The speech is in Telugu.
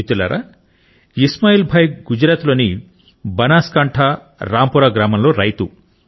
మిత్రులారా ఇస్మాయిల్ భాయ్ గుజరాత్ లోని బనాస్కాంఠా రాంపురా గ్రామంలో రైతు